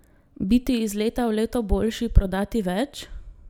Biti iz leta v leto boljši, prodati več?